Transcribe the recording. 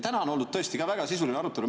Täna on olnud tõesti ka väga sisuline arutelu.